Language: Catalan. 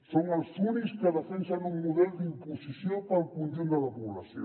són els únics que defensen un model d’imposició per al conjunt de la població